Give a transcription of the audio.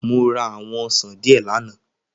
Mo ra àwọn ọsàn díẹ̀ lánàá